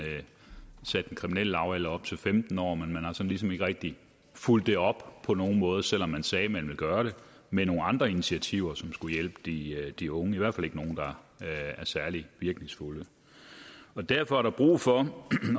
satte den kriminelle lavalder op til femten år men man har ligesom ikke rigtig fulgt det op på nogen måde selv om man sagde man ville gøre det med nogle andre initiativer som skulle hjælpe de de unge i hvert fald ikke nogen der er særlig virkningsfulde derfor er der brug for